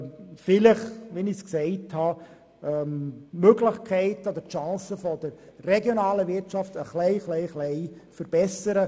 Wie erwähnt, möchte ich die Chancen der regionalen Wirtschaft ein wenig verbessern.